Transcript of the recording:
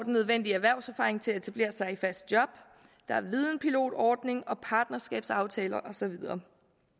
nødvendige erhvervserfaring til at etablere sig i fast job der er videnpilotordningen partnerskabsaftaler og så videre